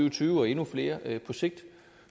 og tyve og endnu flere på sigt